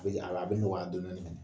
a bɛ nɔgɔya dɔɔnin dɔɔnin mɛnɛ